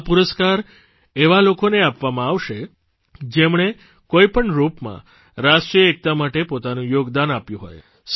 આ પુરસ્કાર એવા લોકોને આપવામાં આવશે જેમણે કોઇ પણ રૂપમાં રાષ્ટ્રીય એકતા માટે પોતાનું યોગદાન આપ્યું હોય